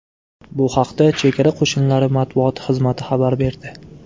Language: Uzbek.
Bu haqda Chegara qo‘shinlari matbuot xizmati xabar berdi .